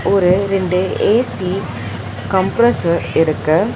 ஒரு ரெண்டு A C compressor இருக்கு.